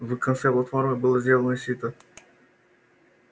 в конце платформы было сделано сито